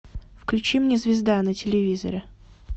включи мне звезда на телевизоре